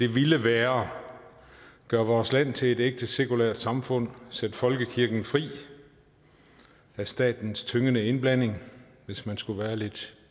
ville være gør vores land til et ægte sekulært samfund sæt folkekirken fri af statens tyngende indblanding hvis man skulle være lidt